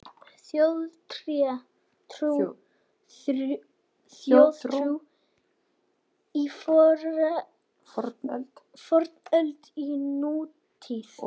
Þjóðtrú í fornöld og nútíð